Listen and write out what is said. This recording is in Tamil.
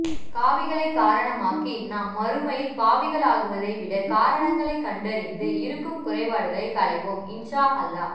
காவிகளை காரணமாக்கி நாம் மறுமையில் பாவிகளாகுவதை விட காரணங்களை கண்டறிந்து இருக்கும் குறைபாடுகளை கலைவோம் இன்ஷா அல்லாஹ்